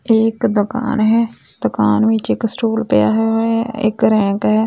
ਇਹ ਇੱਕ ਦੁਕਾਨ ਹੈ ਦੁਕਾਨ ਵਿੱਚ ਇੱਕ ਸਟੂਲ ਪਿਆ ਹੋਇਆ ਇੱਕ ਰੈਕ ਹੈ।